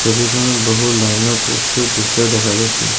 ছবিখনত বহু লাইনৰ প'ষ্টটো দৃশ্য দেখা গৈছে।